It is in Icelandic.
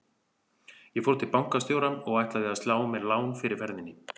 Ég fór til bankastjóra og ætlaði að slá mér lán fyrir ferðinni.